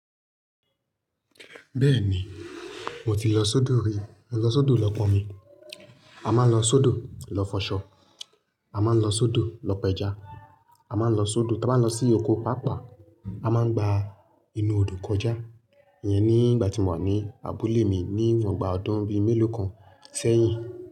Bẹ́ẹ̀ni, mo ti lọ sódo rí. Mo lọ sódo lọ́ pọ̀n mi. A máa ń lọ sódo lọ fọṣọ. A máa ń lọ sódo lọ pẹja. A máa ń lọ sódo tí a bá ń lọ sí oko pápá. A máa ń gba inú odò kọjá. Ìyẹn ní ìgbà tí mo wà ní abúlé mi ní ọgbà ọdún bíi mélòó kan sẹ́yìn.